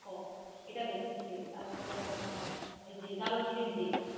হ এটা দেখেছি, তারপরে আপনার এই যে দারুচিনির দ্বীপ,